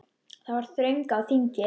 Það var þröng á þingi.